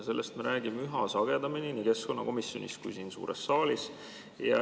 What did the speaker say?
Sellest me räägime üha sagedamini nii keskkonnakomisjonis kui siin suures saalis.